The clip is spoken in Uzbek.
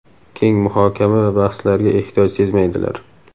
Keng muhokama va bahslarga ehtiyoj sezmaydilar.